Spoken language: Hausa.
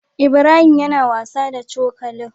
Ibrahim yAna wasa da cokalin